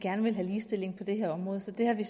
gerne vil have ligestilling på det her område så det har vi